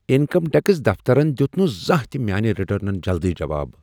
Income tax دفترن دیت نہٕ زانٛہہ تہ میانہ ریٹرنن جلدی جواب۔